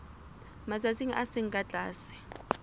matsatsi a seng ka tlase